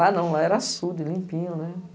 Lá não, lá era açude, limpinho, né?